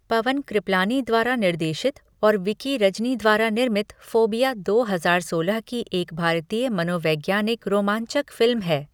पवन क्रिपलानी द्वारा निर्देशित और विकी रजनी द्वारा निर्मित फोबिया दो हजार सोलह की एक भारतीय मनोवैज्ञानिक रोमांचक फिल्म है।